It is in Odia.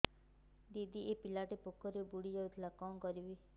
ଦିଦି ଏ ପିଲାଟି ପୋଖରୀରେ ବୁଡ଼ି ଯାଉଥିଲା କଣ କରିବି